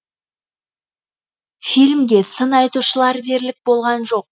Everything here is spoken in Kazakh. фильмге сын айтушылар дерлік болған жоқ